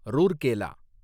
Rourkela